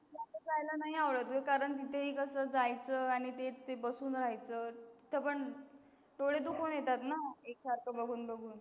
Movie जायला नाही आवडत ग कारण ते कसं जायचं आणि ते बसून राहायचं त पण डोळे दुखून येतात ना एकसारखं बघून बघून.